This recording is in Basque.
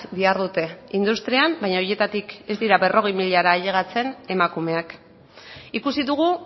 dihardute industrian baina horietatik ez dira berrogeita hamar milara ailegatzen emakumeak ikusi dugu